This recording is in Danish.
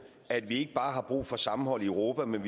at vi ikke bare har brug for sammenhold i europa men